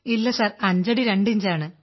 ഇല്ല സർ അഞ്ചടി രണ്ടിഞ്ചാണ